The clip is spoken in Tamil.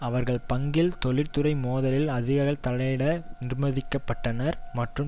அவர்கள் பங்கில் தொழிற்துறை மோதலில் அதிகாரிகள் தலையிட நிர்பந்திக்க பட்டனர் மற்றும்